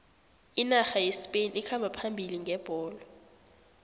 inarha yespain ikhamba phambili ngebholo